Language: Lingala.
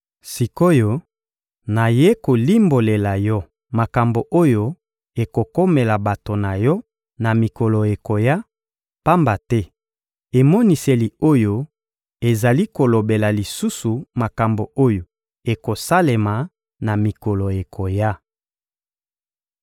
Sik’oyo, nayei kolimbolela yo makambo oyo ekokomela bato na yo na mikolo ekoya, pamba te emoniseli oyo ezali kolobela lisusu makambo oyo ekosalema na mikolo ekoya.